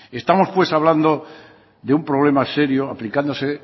estamos pues hablando de un problema serio aplicándose